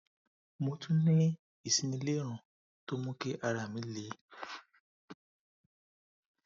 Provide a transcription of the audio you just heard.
mo tún ní ìsínilérùn tó ń mú kí ara mi le